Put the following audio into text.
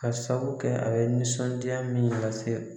Ka sabu kɛ a ye nisɔndiya min lase